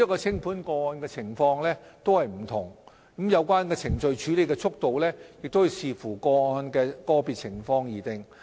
清盤個案的情況各有不同，有關程序的處理速度須視乎個案的個別情況而定。